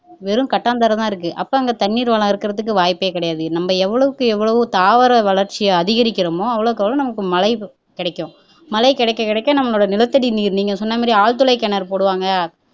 வெறும் கட்டாந்தரைதான் இருக்கு அப்போ அங்க தண்ணீர் வளம் இருக்கிறதுக்கு வாய்ப்பே கிடையாது நம்ம எவ்வளவுக்கு எவ்வளவு தாவர வளர்ச்சியை அதிகரிக்கிறோமோ அவ்வளவுக்கு அவ்வளவு நமக்கு மழை கிடைக்கும் மழை கிடைக்க கிடைக்க நம்மளோட நிலத்தடி நீர் நீங்க சொன்ன மாதிரி ஆழ்துளை கிணறு போடுவாங்க